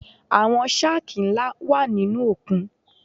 Àwọn shákì ńlá wà nínú òkun.